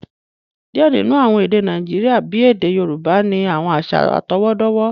Diẹ ninu awọn èdè Nàìjíríà, bí èdè Yorùbá, ni awọn aṣa atọwọdọwọ